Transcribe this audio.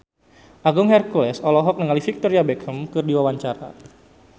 Agung Hercules olohok ningali Victoria Beckham keur diwawancara